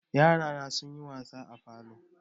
Yarana sunyi wasa a falo.